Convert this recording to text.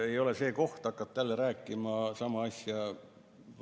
Ei ole vaja selle kohta hakata jälle rääkima sama asja.